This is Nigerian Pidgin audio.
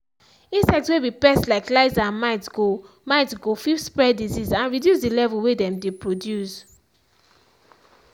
insect way be pest like lice and mites go mites go fit spread disease and reduce the level way them dey produce.